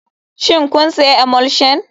Shin kun sayi emulsion.